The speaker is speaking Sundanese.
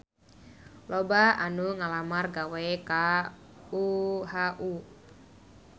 Loba anu ngalamar gawe ka UHU